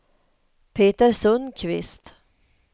Peter Sundkvist